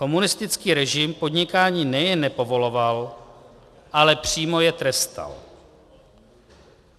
Komunistický režim podnikání nejen nepovoloval, ale přímo je trestal.